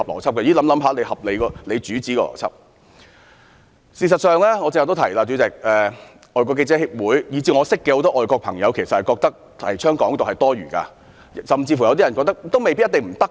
代理主席，事實上，正如我剛才提到，外國記者會以至眾多外國人士均認為提倡"港獨"是多餘的，甚至有人認為一定不可行。